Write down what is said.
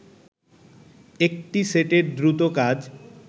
একটি সেটের দ্রুত কাজ